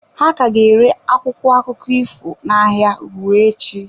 Ha ka ga-ere akwụkwọ akụkọ ifo n'ahịa ruo echi.